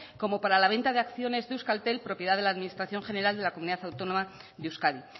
como para la venta de acciones de euskaltel propiedad de la administración general de la comunidad autónoma de euskadi